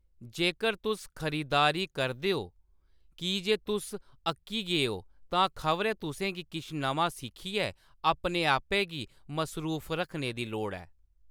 जेक्कर तुस खरीदारी करदे ओ की जे तुस अक्की गे ओ, तां खबरै तु'सें गी किश नमां सिखियै अपने आपै गी मसरूफ रखने दी लोड़ ऐ।